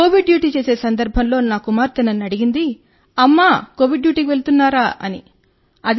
Covid duty చేసే సందర్భంలో నా కుమార్తె నన్ను అడిగింది అమ్మా కోవిడ్ డ్యూటీకి వెళుతున్నారా అని